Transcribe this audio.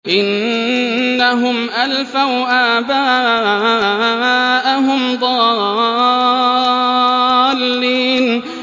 إِنَّهُمْ أَلْفَوْا آبَاءَهُمْ ضَالِّينَ